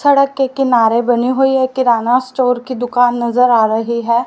सड़क के किनारे बनी हुई एक किराना स्टोअर की दुकान नजर आ रही है।